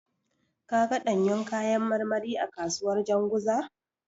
Ka ga ɗanyun kayan marmari a kasuwar Janzuga?